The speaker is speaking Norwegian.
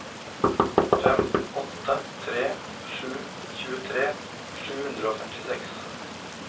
fem åtte tre sju tjuetre sju hundre og femtiseks